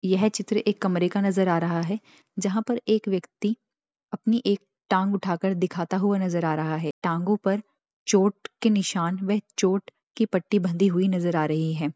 यह चित्र एक कमरे का नजर आ रहा है जहां पर एक व्यक्ति अपनी एक टांग उठा कर दिखाता हुआ नजर आ रहा है टांगों पर चोट के निशान वे चोट की पट्टी बंधी हुई नजर आ रही है।